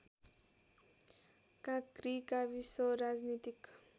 काँक्री गाविस राजनीतिक